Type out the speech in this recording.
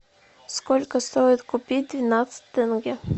сколько стоит купить двенадцать тенге